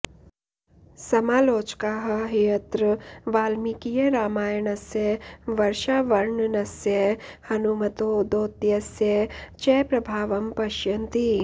समालोचकाः ह्यत्र वाल्मीकीयरामायणस्य वर्षावर्णनस्य हनुमतो दौत्यस्य च प्रभावं पश्यन्ति